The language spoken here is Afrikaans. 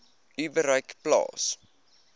u bereik plaas